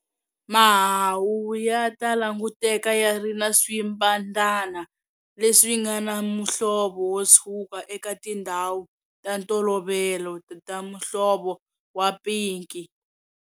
Mahahu ya ta languteka ya ri na swimbhadhana leswi nga na muhlovo wo tshuka eka tindhawu ta ntolovelo ta muhlovo wa pinki.